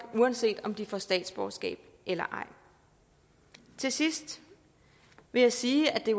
uanset om de får statsborgerskab eller ej til sidst vil jeg sige at det